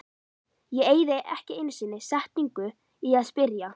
Ég eyði ekki einu sinni setningu í að spyrja